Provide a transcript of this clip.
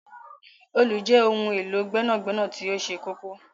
Òòlù jẹ ohun elo gbẹnagbẹna ti oṣẹ kọkọ.